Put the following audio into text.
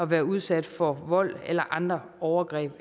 være udsat for vold eller andre overgreb